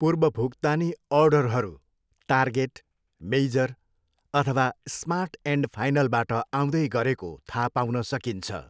पूर्वभुक्तानी अर्डरहरू Target, Meijer, अथवा Smart and फाइनलबाट आउँदै गरेको थाहा पाउन सकिन्छ।